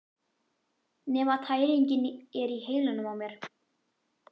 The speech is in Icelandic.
Nema tæringin er í heilanum á mér!